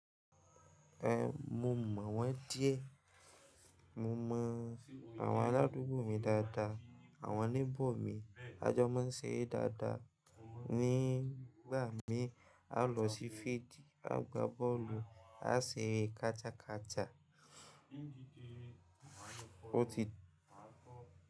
Eh mo mọ̀ wọ́n díẹ̀, mo mọ àwọn aládùúgbò mi dáadáa, àwọn neighbour mi, a jọ máa ń ṣeré dáadáa. Nígbà mí a lọ sí fídì, á gba bọ́ọ̀lù, á ṣeré kata kata.